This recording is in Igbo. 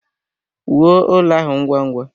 Wuo ụlọ ahụ ngwa ngwa!